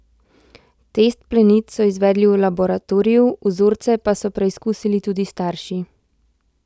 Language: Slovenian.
Test plenic so izvedli v laboratoriju, vzorce pa so preizkusili tudi starši.